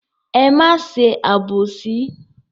Ẹ má ṣe àbòsí.